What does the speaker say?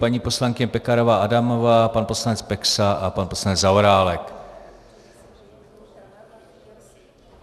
Paní poslankyně Pekarová Adamová, pan poslanec Peksa a pan poslanec Zaorálek.